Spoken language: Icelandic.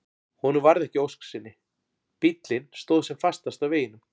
Honum varð ekki að ósk sinni, bíllinn stóð sem fastast á veginum.